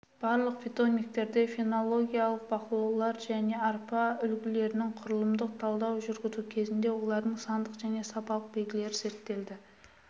барлық питомниктерде фенологиялық бақылаулар және арпа үлгілерін құрылымдық талдау жүргізу кезінде олардың сандық және сапалық белгілері зерттелді